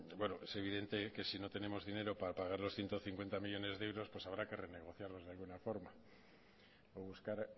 es evidente que si no tenemos dinero para pagar los ciento cincuenta millónes de euros pues habrá que renegociarlos de alguna forma o buscar